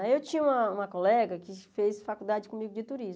Aí eu tinha uma uma colega que fez faculdade comigo de turismo.